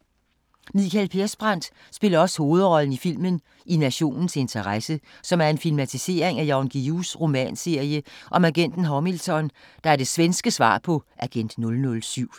Mikael Persbrandt spiller også hovedrollen i filmen "I Nationens interesse", som er en filmatisering af Jan Guillous romanserie om agenten Hamilton, der er det svenske svar på Agent 007.